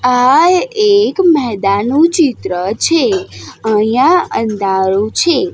આ એક મેદાનનું ચિત્ર છે અહીંયા અંધારું છે.